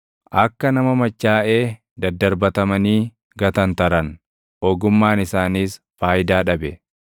Akka nama machaaʼee daddarbatamanii gatantaran ogummaan isaanis faayidaa dhabe.